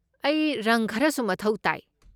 ꯑꯩ ꯔꯪ ꯈꯔꯁꯨ ꯃꯊꯧ ꯇꯥꯏ꯫